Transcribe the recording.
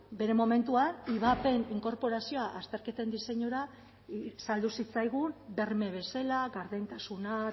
bere momentuan ivapen inkorporazioa azterketen diseinura saldu zitzaigun berme bezala gardentasuna